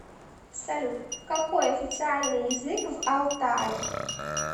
салют какой официальный язык в алтай